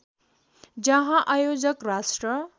जहाँ आयोजक राष्ट्र